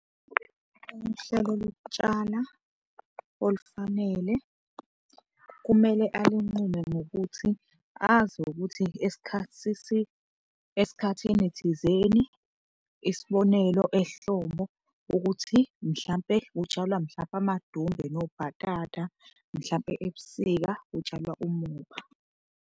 Uhlelo lokutshala olufanele kumele alinqume ngokuthi azi ukuthi esikhathini thizeni, isibonelo ehlobo ukuthi mhlampe kutshalwa mhlampe amadumbe nobhatata, mhlampe ebusika kutshalwa umoba.